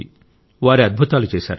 వారు అద్భుతాలు చేశారు